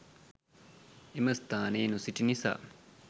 එම ස්‌ථානයේ නොසිටි නිසා